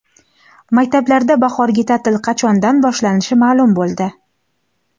Maktablarda bahorgi ta’til qachondan boshlanishi ma’lum bo‘ldi.